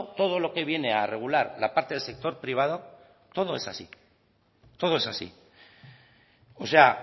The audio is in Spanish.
todo lo que viene a regular la parte del sector privado todo es así todo es así o sea